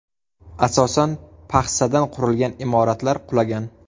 Asosan paxsadan qurilgan imoratlar qulagan.